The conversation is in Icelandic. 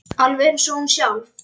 Alveg eins og hún sjálf.